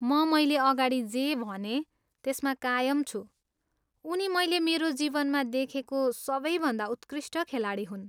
म मैले अगाडि जे भनेँ त्यसमा कायम छु, उनी मैले मेरो जीवनमा देखेको सबैभन्दा उत्कृष्ट खेलाडी हुन्।